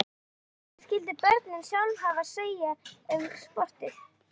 En hvað skyldu börnin sjálf hafa að segja um sportið?